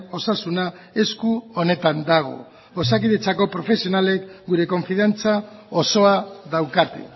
osasuna esku onetan dago osakidetzako profesionalek gure konfiantza osoa daukate